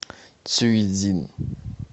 цюйцзин